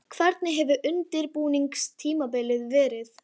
Hvernig hefur undirbúningstímabilið verið?